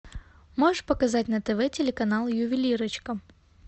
можешь показать на тв телеканал ювелирочка